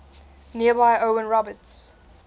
nearby owen roberts